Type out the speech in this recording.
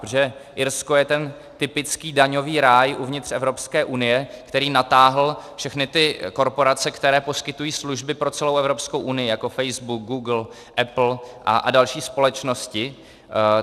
Protože Irsko je ten typický daňový ráj uvnitř Evropské unie, který natáhl všechny ty korporace, které poskytují služby pro celou Evropskou unii, jako Facebook, Google, Apple a další společnosti.